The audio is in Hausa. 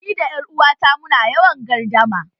Ni da 'yar uwata mu na yawan gardama